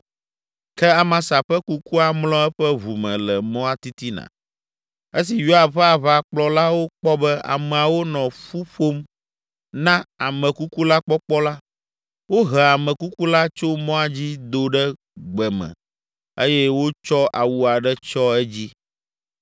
Ke Amasa ƒe kukua mlɔ eƒe ʋu me le mɔa titina. Esi Yoab ƒe aʋakplɔlawo kpɔ be ameawo nɔ ƒu ƒom na ame kuku la kpɔkpɔ la, wohe ame kuku la tso mɔa dzi do ɖe gbe me eye wotsɔ awu aɖe tsyɔ edzi.